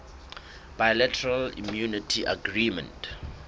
bilateral immunity agreement